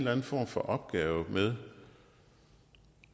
anden form for opgave med